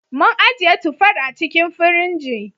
Mun ajiye tufar a cikin firinji.